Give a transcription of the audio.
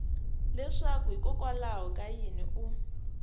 leswaku hikokwalaho ka yini u